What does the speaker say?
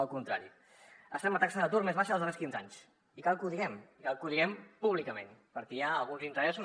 al contrari estem en la taxa d’atur més baixa dels darrers quinze anys i cal que ho diguem i cal que ho diguem públicament perquè hi ha alguns interessos